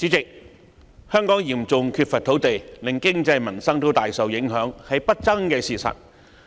主席，香港嚴重缺乏土地，令經濟民生大受影響，是不爭的事實。